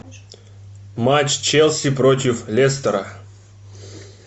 матч челси против лестера